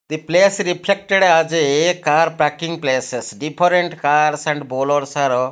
the place reflected as a car parking places different cars and .